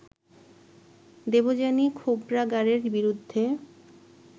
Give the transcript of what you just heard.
দেবযানী খোবরাগাড়ের বিরুদ্ধে